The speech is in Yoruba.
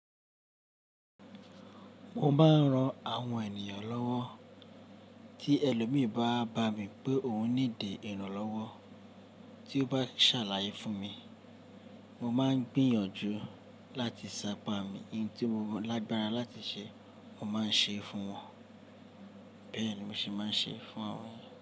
Mo máa ń ran àwọn ènìyàn lọ́wọ́. Tí ẹlòmìí bá bá mi pé òun ní ìdè ìrànlọ́wọ́ tí ó bá ṣàlàyé fún mi, mo máa ń gbìyànjú láti ṣàpami. Eyín tí mo lágbára láti ṣe, mo máa ń ṣe fún wọn. Bẹ́ẹ̀ ni mo ṣe máa ń ṣe fún àwọn.